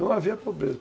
Não havia pobreza.